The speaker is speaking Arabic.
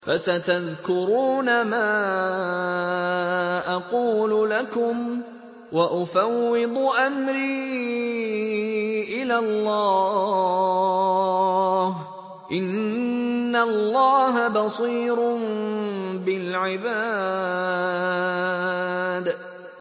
فَسَتَذْكُرُونَ مَا أَقُولُ لَكُمْ ۚ وَأُفَوِّضُ أَمْرِي إِلَى اللَّهِ ۚ إِنَّ اللَّهَ بَصِيرٌ بِالْعِبَادِ